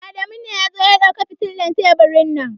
Adamu ne ya zo ya dauki fitilar teburin nan.